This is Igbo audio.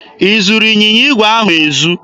I zuru ịnyịnya igwe ahụ ezu?